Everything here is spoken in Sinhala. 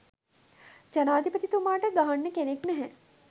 ජනාදිපතිතුමාට ගහන්න කෙනෙක් නැහැ